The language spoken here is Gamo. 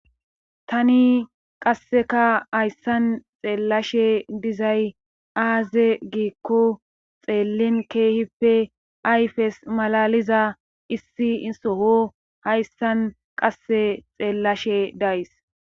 tani qasseka hayssan xeellashe dizay aaze giikko xeellin keehippe ayfes malaliza issi isoho hayssan qasse xeellashe days